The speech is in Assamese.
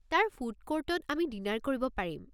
তাৰ ফুড ক'ৰ্টত আমি ডিনাৰ কৰিব পাৰিম।